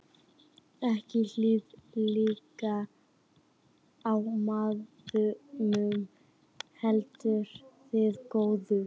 Ekki hið illa í manninum, heldur hið góða.